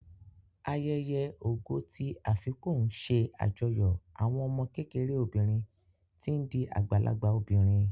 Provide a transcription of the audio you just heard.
Ayẹyẹ Ògo ti Afipò ń ṣe àjọyọ̀ àwọn ọmọ kékeré obìnrin tí ń di àgbàlagbà obìnrin